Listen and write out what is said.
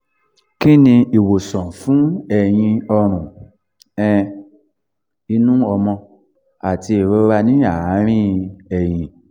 kí ni ìwòsàn fún ẹ̀yìn ọrùn um inú ọmọ àti ìrora ní àárín ẹ̀yìn?